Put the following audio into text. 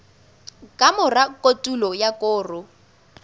ka mora kotulo ya koro